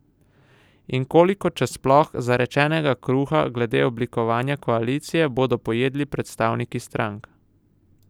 In koliko, če sploh, zarečenega kruha glede oblikovanja koalicije bodo pojedli predstavniki strank?